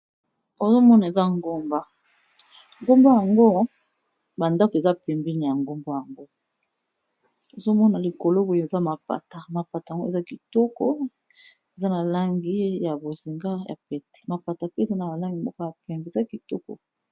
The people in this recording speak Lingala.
Ozo mona eza ngomba, ngomba yango ba ndako eza pembeni ya ngomba yango ozo mona likolo boye eza mapata, mapata yango eza kitoko eza na langi ya bozinga ya pete. Mapata pe eza na ba langi moko ya pembe, eza kitoko.